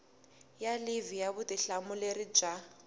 ya livhi ya vutihlamuleri bya